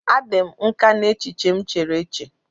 A dị m nkà n'echiche m chere eche.